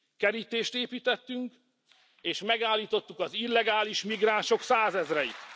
Kerítést építettünk, és megállítottuk az illegális migránsok százezreit.